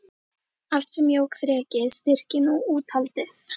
Allt sem jók þrekið, styrkinn og úthaldið.